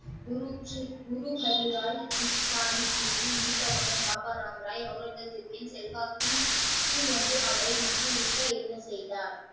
குரு ஜி குரு ஹரிராய் சாகிர் ஜி யின் மூத்த மகன் பாபா ராம் ராய் அவுரங்க ஜிப்பின் செல்வாக்கின் கீழ் வந்து அவரை மகிழ்விக்க என்ன செய்தார்?